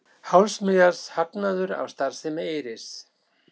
Hálfs milljarðs hagnaður af starfsemi Eyris